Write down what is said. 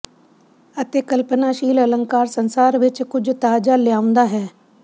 ਅਤੇ ਕਲਪਨਾਸ਼ੀਲ ਅਲੰਕਾਰ ਸੰਸਾਰ ਵਿੱਚ ਕੁਝ ਤਾਜ਼ਾ ਲਿਆਉਂਦਾ ਹੈ